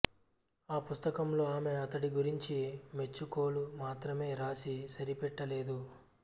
ఆ పుస్తకంలో ఆమె అతడి గురించి మెచ్చుకోలు మాత్రమే రాసి సరిపెట్టలేదు